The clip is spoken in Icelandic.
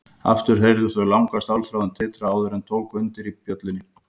Aftur heyrðu þau langa stálþráðinn titra áður en tók undir í bjöllunni.